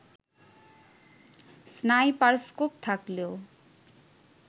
sniperscope থাকলেও